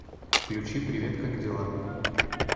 включи привет как дела